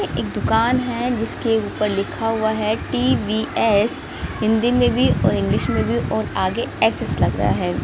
एक दुकान है जिसके ऊपर लिखा हुआ है टी_वी_एस हिंदी में भी और इंग्लिश में भी और आगे एस_एस लगा है।